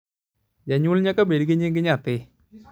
janyuol nyaka bed gi nying nyathi